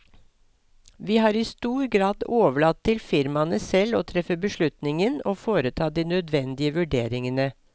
Vi har i stor grad overlatt til firmaene selv å treffe beslutningen og foreta de nødvendige vurderingene.